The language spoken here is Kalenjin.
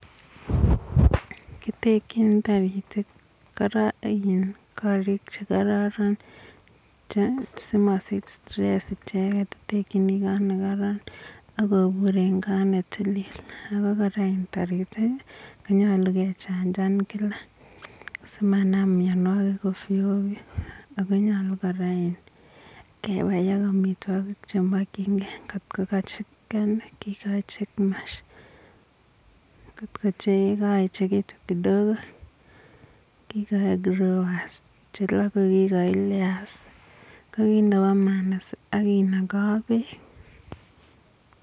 Kitekchin taritik korik che kararan si kobur kot ne tilil. Taritik, nyalu ke chanjan kila, si manam mianwagik ovyo ovyo . Ago nyalu kebai amitwogik che makchinge.